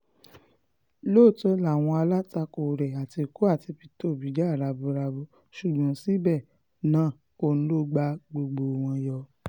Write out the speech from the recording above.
lóòótọ́ làwọn alátakò rẹ̀ àtìkù àti peter òbí jà raburabu ṣùgbọ́n síbẹ̀ náà òun ló ta gbogbo wọn yọ